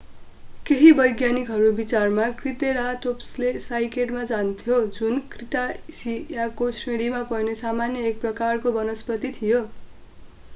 केहि वैज्ञानिकहरू विचारमा त्रिसेराटोप्सले साइकेड खान्थ्यो जुन क्रिटासियाको श्रेणीमा पर्ने सामान्य एक प्रकारको वनस्पति थियो